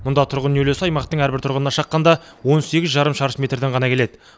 мұнда тұрғын үй үлесі аймақтың әрбір тұрғынына шаққанда он сегіз жарым шаршы метрден ғана келеді